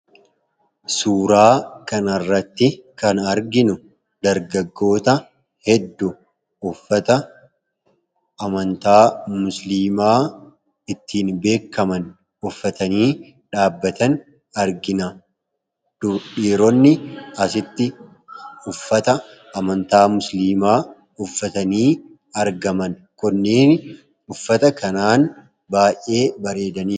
Suuraa kanarratti kan arginu dargagoota hedduu uffata amantaa musliimaa ittiin beekkaman uffatanii dhaabbatan argina. Dhiironni asitti uffata amantaa musliimaa uffatanii argaman kunneen uffata kanaan baay'ee bareedani.